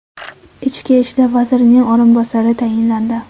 Ichki ishlar vazirining o‘rinbosari tayinlandi.